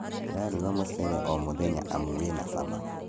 Ndĩraruga mũcere o mũthenya amu wĩna cama